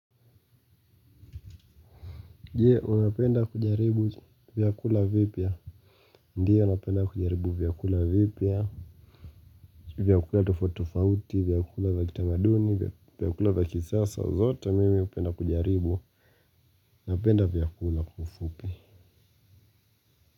Je, unapenda kujaribu vyakula vipya? Ndiyo napenda kujaribu vyakula vipya. Vyakula tofauti tofauti, vyakula vya kitamaduni, vyakula vya kisasa zote mimi hupenda kujaribu. Napenda vyakula kiufupi.